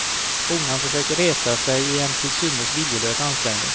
Honan försöker resa sig i en till synes viljelös ansträngning.